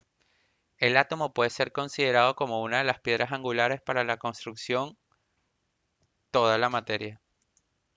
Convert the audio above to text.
el átomo puede ser considerado como una de las piedras angulares para la construcción toda la materia